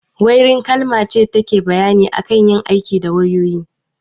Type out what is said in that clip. Wairin kalma ce da take bayani akan yin aiki da wayoyi